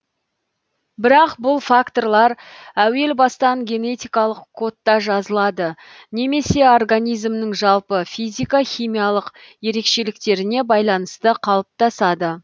бірақ бұл факторлар әуел бастан генетикалық кодта жазылады немесе организмнің жалпы физика химиялық ерекшеліктеріне байланысты қалыптасады